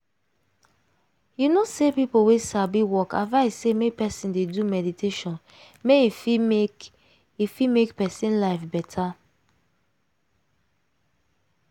you know say people wey sabi work advice say make person dey do meditation make e fit make e fit make person life better.